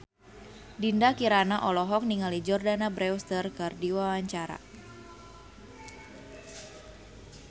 Dinda Kirana olohok ningali Jordana Brewster keur diwawancara